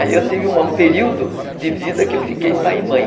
Aí eu tive um período de vida que eu fiquei pai e mãe.